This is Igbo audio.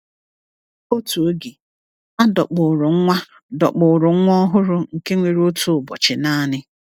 Otu oge, a dọkpụụrụ nwa dọkpụụrụ nwa ọhụrụ nke nwere otu ụbọchị naanị.